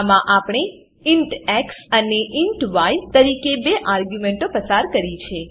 આમાં આપણે int x અને ઇન્ટ ય તરીકે બે આર્ગ્યુંમેંટો પસાર કરી છે